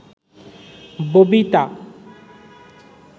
Babita